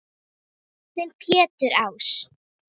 Þinn Pétur Ás.